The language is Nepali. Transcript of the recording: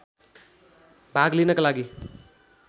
भाग लिनका लागि